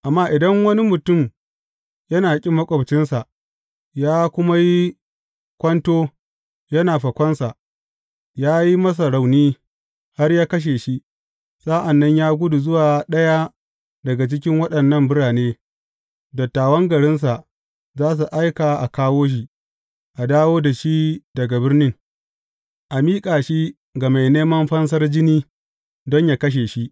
Amma idan wani mutum yana ƙin maƙwabcinsa, ya kuma yi kwanto yana fakonsa, ya yi masa rauni, har ya kashe shi, sa’an nan ya gudu zuwa ɗaya daga cikin waɗannan birane, dattawan garinsa za su aika a kawo shi, a dawo da shi daga birnin, a miƙa shi ga mai neman fansar jini don yă kashe shi.